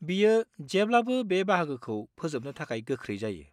बियो जेब्लाबो बे बाहागोखौ फोजोबनो थाखाय गोख्रै जायो।